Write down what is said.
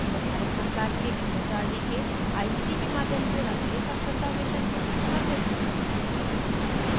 यह भारत सरकार के एमएचआरडी के आईसीटी के माध्यम से राष्ट्रीय साक्षरता mission द्वारा समर्थित है